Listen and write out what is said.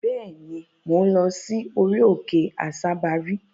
Bẹ́ẹ̀ ni, mò ń lọ sí orí-okè Àsábarí.